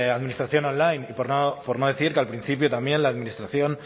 administración online y por no decir que al principio también la administración